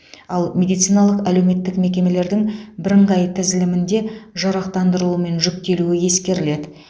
ал медициналық әлеуметтік мекемелердің бірыңғай тізілімінде жарақтандырылуы мен жүктелуі ескеріледі